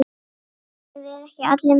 Gerum við ekki allir mistök?